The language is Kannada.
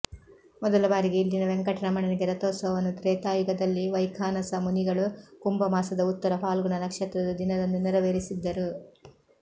ಮೊದಲ ಬಾರಿಗೆ ಇಲ್ಲಿನ ವೆಂಕಟರಮಣನಿಗೆ ರಥೋತ್ಸವನ್ನು ತ್ರೇತಾಯುಗದಲ್ಲಿ ವೈಖಾನಸ ಮುನಿಗಳು ಕುಂಭ ಮಾಸದ ಉತ್ತರ ಫಾಲ್ಗುಣ ನಕ್ಷತ್ರದ ದಿನದಂದು ನೆರವೇರಿಸಿದ್ದರು